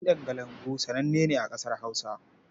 Kiɗan kalangu sananne ne a ƙasar Hausa.